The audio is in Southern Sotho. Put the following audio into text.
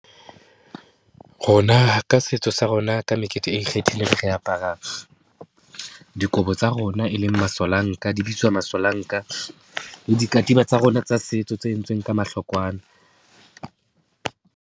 Rona ka setso sa rona ka mekete e ikgethileng re apara dikobo tsa rona, e leng masolanka, di bitswa masolanka le dikatiba tsa rona tsa setso, tse entsweng ka mahlokwana.